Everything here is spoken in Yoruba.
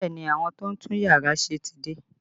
Bẹẹ ni, àwọn tó ń tún yàrá ṣe ti dé